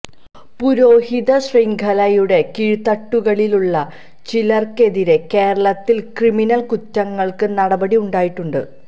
പുരോഹിത ശൃംഖലയുടെ കീഴ്തട്ടുകളിലുള്ള ചിലര്ക്കെതിരെ കേരളത്തില് ക്രിമിനല് കുറ്റങ്ങള്ക്ക് നടപടി ഉണ്ടായിട്ടുണ്ട്